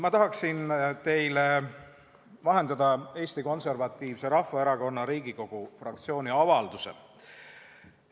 Ma tahaksin teile vahendada Eesti Konservatiivse Rahvaerakonna Riigikogu fraktsiooni avalduse.